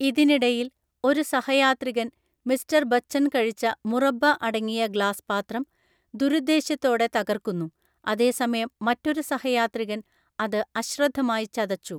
ഇതിനിടയിൽ, ഒരു സഹയാത്രികൻ മിസ്റ്റർ ബച്ചൻ കഴിച്ച മുറബ്ബ അടങ്ങിയ ഗ്ലാസ് പാത്രം ദുരുദ്ദേശ്യത്തോടെ തകർക്കുന്നു, അതേസമയം മറ്റൊരു സഹയാത്രികൻ അത് അശ്രദ്ധമായി ചതച്ചു.